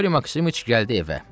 Qriqori Maksimiç gəldi evə.